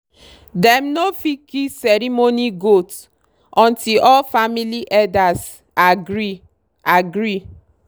dem no fit kill ceremony goat until all family elders agree. agree.